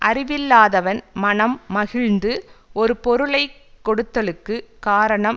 அறிவில்லாதவவன் மனம் மகிழ்ந்து ஒரு பொருளை கொடுத்தலுக்கு காரணம்